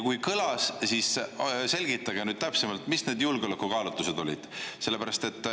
Kui kõlas, siis selgitage täpsemalt, mis need julgeolekukaalutlused olid.